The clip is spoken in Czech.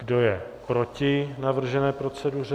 Kdo je proti navržené proceduře?